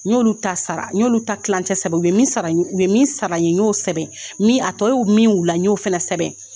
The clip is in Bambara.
N y'olu ta sara, n y'olu ta tilancɛ sɛbɛn. U be min sara n ye u be min saba n ye n y'o sɛbɛn. Min a tɔ ye min y'u la n y'o fɛnɛ sɛbɛn.